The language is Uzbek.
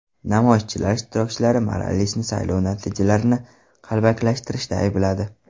Namoyish ishtirokchilari Moralesni saylov natijalarini qalbakilashtirishda aybladi.